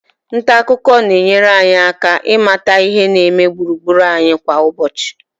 nta akụkọ na-enyere anyị aka ịmata ihe na-eme gburugburu anyị kwa ụbọchị